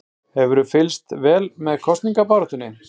Lillý Valgerður Pétursdóttir: Hefurðu fylgst vel með kosningabaráttunni?